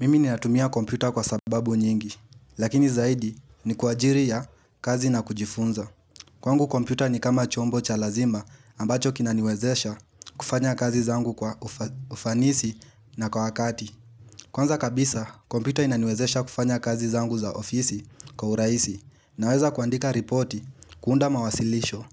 Mimi ni natumia kompyuta kwa sababu nyingi, lakini zaidi ni kwa ajili ya kazi na kujifunza. Kwangu kompyuta ni kama chombo cha lazima ambacho kinaniwezesha kufanya kazi zangu kwa ufanisi na kwa wakati. Kwanza kabisa, kompyuta inaniwezesha kufanya kazi zangu za ofisi kwa urahisi. Naweza kuandika reporti, kuunda mawasilisho